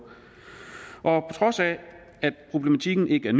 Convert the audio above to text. trods af at problematikken ikke er